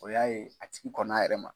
O y'a ye a tigi kɔnn'a yɛrɛ ma